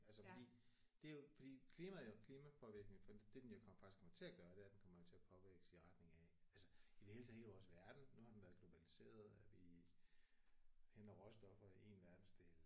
Altså fordi det er jo fordi klimaet eller klimapåvirkning for det den jo faktisk kommer til at gøre det er at den kommer jo til at påvirke os i retning af altså i det hele taget hele vores verden nu har den været globaliseret at vi henter råstoffer i en verdensdel